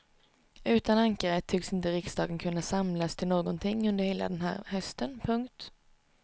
Utan ankaret tycks inte riksdagen kunna samlas till någonting under hela den här hösten. punkt